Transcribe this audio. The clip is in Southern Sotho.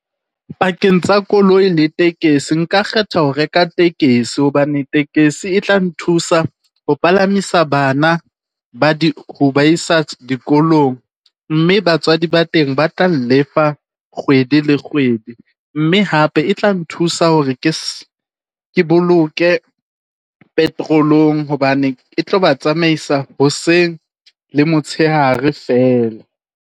Pakeng tsa koloi le tekesi nka kgetha ho reka tekesi hobane tekesi e tla nthusa ho palamisa bana ba di, ho ba isa dikolong. Mme batswadi ba teng ba tlang lefa kgwedi le kgwedi, mme hape e tla nthusa hore ke , ke boloke petrol-ong hobane e tlo ba tsamaisa hoseng le motshehare fela.